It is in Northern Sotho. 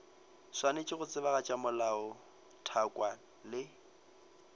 swanetše go tsebagatša melaotlhakwa le